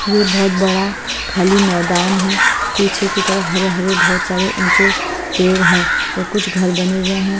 ये बहुत बड़ा खाली मैदान है पीछे की तरफ हरे हरे बहोत सारे ऊंचे पेड़ हैं और कुछ घर बने हुए हैं।